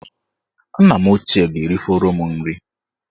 Nna m ochie ga-erifọrọ m nri